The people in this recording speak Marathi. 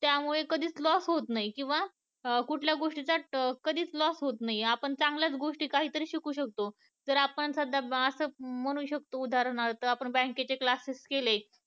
त्यामुळे कधीच loss होत नाही किंवा कुठल्या गोष्टी चा loss होत नाही आपण चांगल्याच गोष्टी काहीतरी शिकू शकतो जर आपण सध्या शकतो उदाहरणार्थ आपण bank चे class केले